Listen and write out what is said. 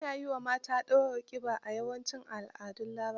Ana yi wa mata ɗurar ƙiba, a yawancin al'adun Larabawa.